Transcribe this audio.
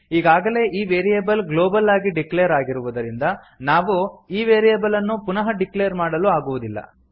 ಈಗಾಗಲೇ ಈ variable global ಆಗಿ ಡಿಕ್ಲೇರ್ ಆಗಿರುವುದರಿಂದ ನಾವು ಈ ವೇರಿಯೇಬಲ್ ಅನ್ನು ಪುನಃ ಡಿಕ್ಲೇರ್ ಮಾಡಲು ಆಗುವುದಿಲ್ಲ